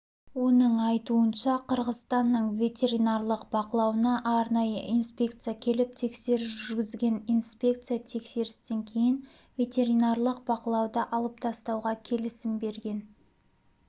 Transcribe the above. оның айтуынша қырғызстанның ветеринарлық бақылауына арнайы инспекция келіп тексеріс жүргізген инспекция тексерістен кейін ветеринарлық бақылауды алып тастауға келісім берген